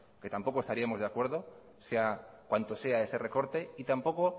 que tampoco estaríamos de acuerdo sea cuanto sea ese recorte y tampoco